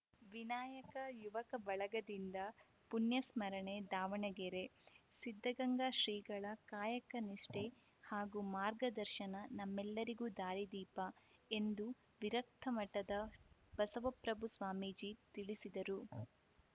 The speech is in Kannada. ವಿನಾಯಕ ಯುವಕ ಬಳಗದಿಂದ ಪುಣ್ಯಸ್ಮರಣೆ ದಾವಣಗೆರೆ ಸಿದ್ಧಗಂಗಾ ಶ್ರೀಗಳ ಕಾಯಕ ನಿಷ್ಠೆ ಹಾಗೂ ಮಾರ್ಗದರ್ಶನ ನಮ್ಮೆಲ್ಲರಿಗೂ ದಾರಿದೀಪ ಎಂದು ವಿರಕ್ತಮಠದ ಬಸವಪ್ರಭು ಸ್ವಾಮೀಜಿ ತಿಳಿಸಿದರು